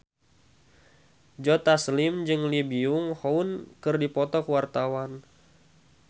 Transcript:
Joe Taslim jeung Lee Byung Hun keur dipoto ku wartawan